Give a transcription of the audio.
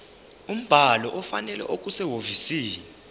umbhalo ofanele okusehhovisi